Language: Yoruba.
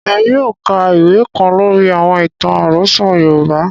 Émi yóò ka ìwe kan lóri àwọn itan arosọ Yorùbá.